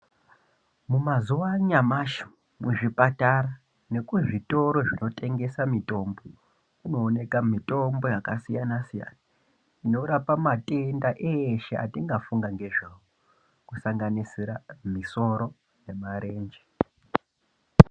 Mumazuwa anyamashi kuzvipatara nekuzvitoro kunotengeswa mutombo kunooneka mitombo yakasiyana siyana inorapa matenda eshe atingafunga nezvawo kusanganisira musoro nemarenje.